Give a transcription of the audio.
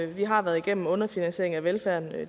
vi har været igennem en underfinansiering af velfærden